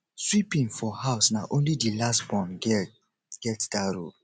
sweeping for house na only di last born girl get dat role